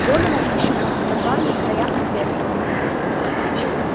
донован ощупал рваные края отверстия